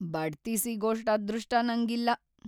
ಬಡ್ತಿ ಸಿಗೋಷ್ಟ್‌ ಅದೃಷ್ಟ ನಂಗಿಲ್ಲ.